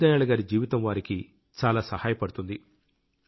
దీన్ దయాళ్ గారి జీవితం వారికి చాలా సహాయపడుతుంది